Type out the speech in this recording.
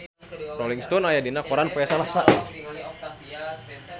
Rolling Stone aya dina koran poe Salasa